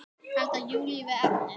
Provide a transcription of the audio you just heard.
Og halda Júlíu við efnið.